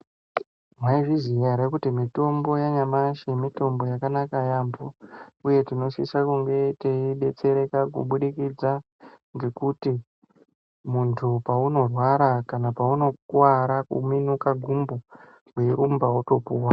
Mai zviziya ere kuti mitombo ya nyamashi mitombo yakanaka yambo uye tino sisa kunge tei detsereka ku budikidza ngekuti muntu pauno rwara kana pauno kuvara ku minuka gumbo wei rumba woto puwa.